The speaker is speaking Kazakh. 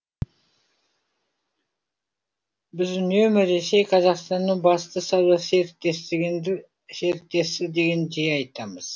біз үнемі ресей қазақстанның басты сауда серіктесі дегенді жиі айтамыз